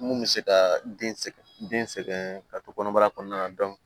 Mun bɛ se ka den sɛgɛn den sɛgɛn ka to kɔnɔbara kɔnɔna na